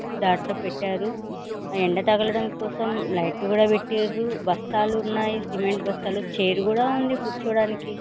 దాంట్లో పెట్టరు. ఎండ తగలటం కోసం లైట్స్ లు కూడ పెట్టిరు. బస్తాలు ఉన్నాయి సిమెంట్ బస్తాలు చైర్ కూడ ఉంది కూర్చోటానికి.